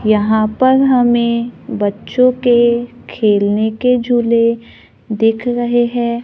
यहां पर हमें बच्चों के खेलने के झूले दिख रहे हैं।